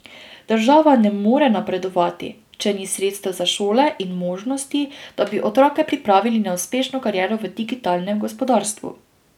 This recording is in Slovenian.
Država ne more napredovati, če ni sredstev za šole in možnosti, da bi otroke pripravili na uspešno kariero v digitalnem gospodarstvu.